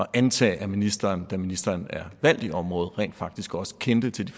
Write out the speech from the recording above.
antage at ministeren da ministeren er valgt i området rent faktisk også kendte til